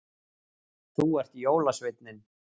Þú ert jólasveinninn